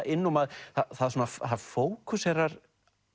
inn það fókuserar